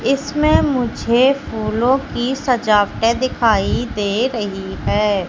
इसमें मुझे फूलों की सजावटें दिखाई दे रही है।